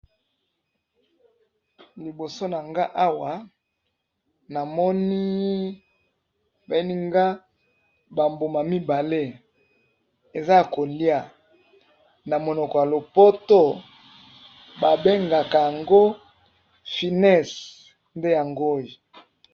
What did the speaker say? Na liboso na nga awa na moni bolakisi mbuma mibale ya kolia na munoko ya poto ba bengaka yango ...